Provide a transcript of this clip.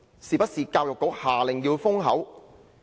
是不是教育局下令要封口？